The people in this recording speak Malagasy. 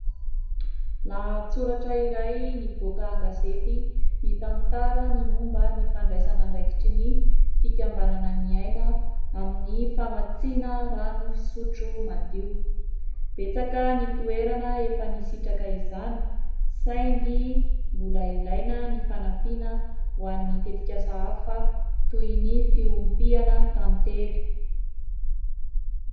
Lahatsoratra iray nivoaka an-gazety mitantara ny momba ny fandraisana andraikitry ny fikambanana Ny Aina amin'ny famatsiana rano fisotro madio, betsaka ny toerana efa nisitraka izany, saingy mbola ilaina ny fanampiana ho an'ny tetikasa hafa toy ny fiompiana tantely.